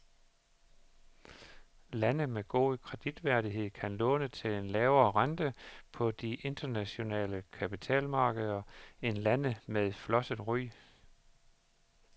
Lande med god kreditværdighed kan låne til en lavere rente på de internationale kapitalmarkeder end lande med flosset ry.